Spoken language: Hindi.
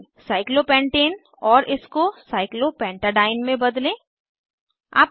साइक्लोपेंटेन साइक्लोपेन्टेन और इसको साइक्लोपेंटाडीन साइक्लोपेंटाडाइन में बदलें